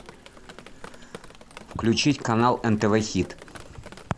включить канал нтв хит